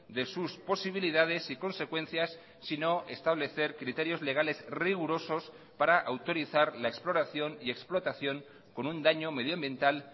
de sus posibilidades y consecuencias sino establecer criterios legales rigurosos para autorizar la exploración y explotación con un daño medioambiental